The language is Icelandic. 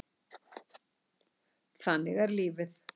Þannig er lífið.